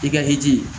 I ka hinɛ